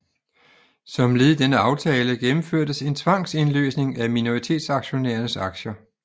Som led i denne aftale gennemførtes en tvangsindløsning af minoritetsaktionærernes aktier